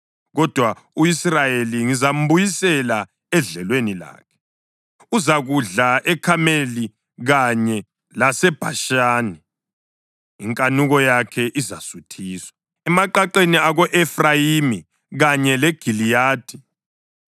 Kodwa u-Israyeli ngizambuyisela edlelweni lakhe, uzakudla eKhameli kanye laseBhashani; inkanuko yakhe izasuthiswa emaqaqeni ako-Efrayimi kanye leGiliyadi.